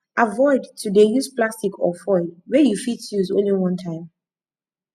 avoid to de use plastic or foil wey you fit use only one time